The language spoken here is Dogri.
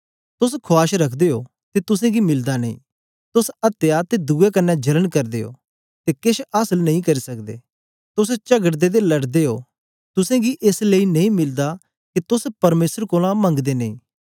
तोस खुआश रखदे ओ ते तुसेंगी मिलदा नेई तोस अत्या ते दुए क्न्ने जलन करदे ओ ते केछ आसल नेई करी सकदे तोस चगड़दे ते लड़दे ओ तुसेंगी एस लेई नेई मिलदा के तोस परमेसर कोलां मंगदे नेई